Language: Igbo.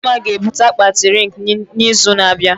Dimma ga-ebute akpati rịng na izu na abịa